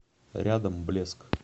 рядом блеск